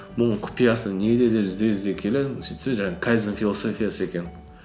мұның құпиясы неде деп ізде ізде келе сөйтсе жаңағы кайдзен философиясы екен